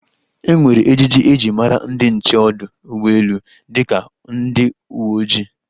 E nwere ejiji e ji mara ndi nche ọdụ ụgbọelu dịka ndi uwe ojii.